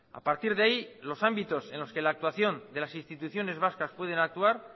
a partir de ahí los ámbitos en los que la actuación de las instituciones vascas pueden actuar